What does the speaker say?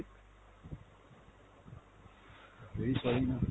very sorry ma'am।